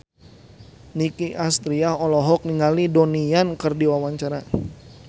Nicky Astria olohok ningali Donnie Yan keur diwawancara